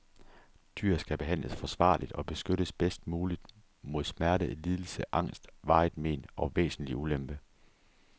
Dyr skal behandles forsvarligt og beskyttes bedst muligt mod smerte, lidelse, angst, varigt men og væsentlig ulempe.